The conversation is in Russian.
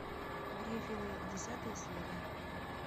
гриффины десятая серия